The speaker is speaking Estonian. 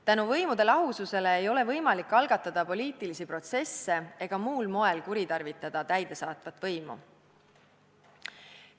Tänu võimude lahususele ei ole võimalik algatada poliitilisi protsesse ega muul moel kuritarvitada täidesaatvat võimu.